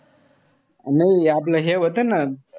नाई आपलं हे व्हतं ना,